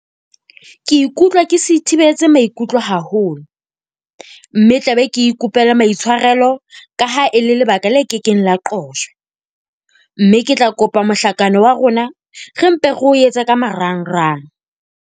Ke ikutlwa ke sithibetse maikutlo haholo mme tla be ke ikopela maitshwarelo ka ha e le lebaka le kekeng la qojwa, mme ke tla kopa mohlakano wa rona re mpe re o etse ka marangrang.